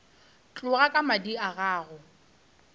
tloga ka madi ga go